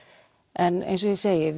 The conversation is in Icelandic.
en eins og ég segi